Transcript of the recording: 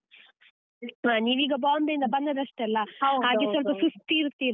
ಬಿಟ್ಟುವಾ ನೀವ್ ಈಗ Bombay ಇಂದ ಬಂದದಷ್ಟೇ ಅಲಾ .